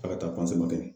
A ka taa kɛ